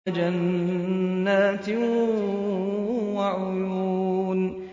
وَجَنَّاتٍ وَعُيُونٍ